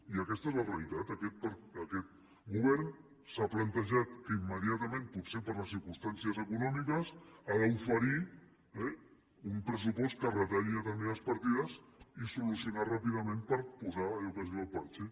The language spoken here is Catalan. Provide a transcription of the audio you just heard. i aquesta és la realitat aquest govern s’ha plantejat que immediatament potser per les circumstàncies econòmiques ha d’oferir eh un pressupost que retalli determinades partides i solucionar ho ràpidament per posar allò que es diu el parche